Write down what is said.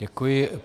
Děkuji.